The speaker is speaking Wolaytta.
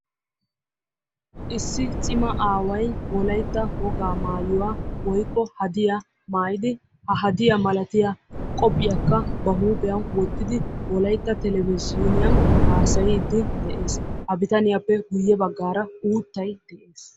Issi cimaa aaway wolaytta wogaa maayuwa oykko qobbiya wottiddi wolaytta televizhzhinniyan hasaayees. Etta matan qassi uuttay de'ees.